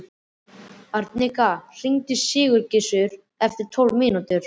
Arnika, hringdu í Sigurgissur eftir tólf mínútur.